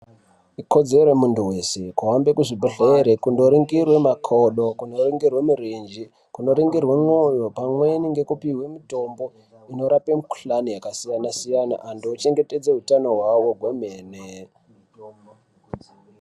Ikodzero yemuntu wese kuhambe kuzvibhedhlere kundoringirwe makodo, kunoringirwe mirenje, kunoringirwe ndxondo pamweni ngekupihwe mitombo inorape mikuhlani yakasiyana siyana, antu ochengetedze utano hwawo kwemene.